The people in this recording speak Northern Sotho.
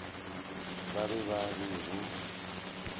ba be ba re go